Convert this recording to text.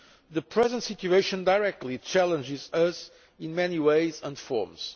The current situation directly challenges us in many ways and forms.